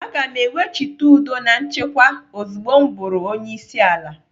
Aga m ewechite udo na nchekwa ozugbo m bụrụ onyeisiala.